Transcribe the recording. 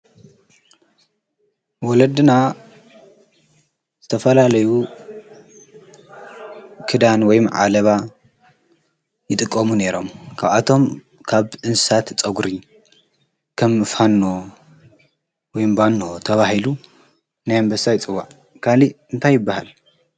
ወለድና ዝተፈላለዩ ክዳን ወይም ዓለባ ይጥቆሙ ነይሮም። ካብኣቶም ካብ እንሳት ጸጕሪ ከም ፋኖ ወይምባኖ ተባሂሉ ናይ ኣንበሳይ ጽዋዕ ካሊ እንታይ ይበሃል?